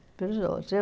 Para os outros. Eu